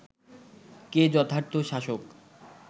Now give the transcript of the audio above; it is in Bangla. কে যথার্থ শাসক